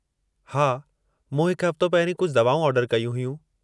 हा, मूं हिकु हफ़्तो पहिरीं कुझु दवाऊं ऑर्डर कयूं हुयूं।